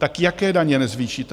Tak jaké daně nezvýšíte?